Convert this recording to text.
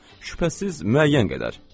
Şübhəsiz müəyyən qədər.